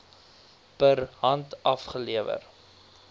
per hand afgelewer